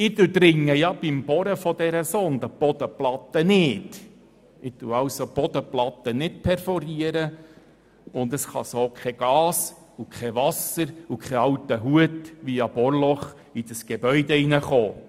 Beim Bohren der Sonde durchdringe ich die Bodenplatte nicht, perforiere diese also nicht, sodass weder Gas, Wasser noch ein alter Hut via Bohrloch in das Gebäude gelangen können.